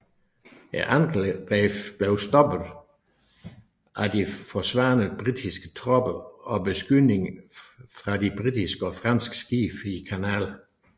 Angrebet blev stoppet af de forsvarende britiske tropper og beskydning fra de britiske og franske skibe i kanalen